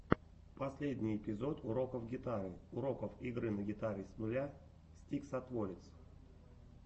последний эпизод уроков гитары уроков игры на гитаре с нуля стиксатворец